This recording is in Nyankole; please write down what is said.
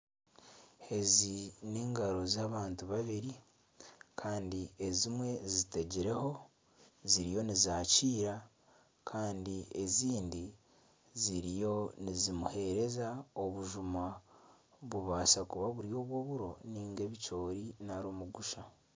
Ezi n'engaro z'abantu babiri kandi ezimwe zitegireho ziriyo nizakiira kandi ezindi ziriyo nizimuheereza obujuma nibubaasa kuba buri obw'oburo niga ebicoori nari omugusha.